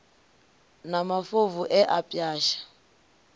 na mafobvu e a pwasha